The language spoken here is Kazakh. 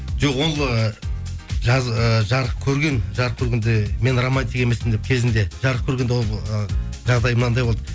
жоқ ол ы жаз ы жарық көрген жарық көргенде мен романтик емеспін деп кезінде жарық көргенде ол ы жағдай мынандай болды